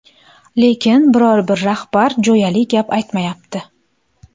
Lekin, biror-bir rahbar jo‘yali gap aytmayapti”.